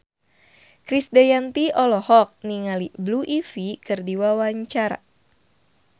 Krisdayanti olohok ningali Blue Ivy keur diwawancara